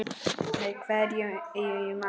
Með hverju mælir þú?